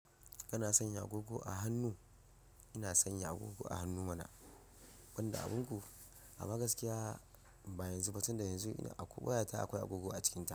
Kana sanya agogo a hannu? Ina sanya agogo a hannu mana, banda abin ku? A ma gaskiya ba yanzu ba, tunda yanzu ina a ko waya ta akwai agogo a cikinta.